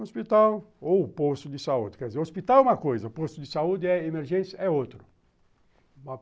Hospital ou posto de saúde, quer dizer, hospital é uma coisa, posto de saúde é emergência, é outro.